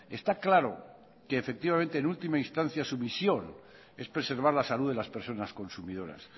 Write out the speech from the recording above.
está claro que efectivamente en última instancia su misión es preservar la salud de las personas consumidoras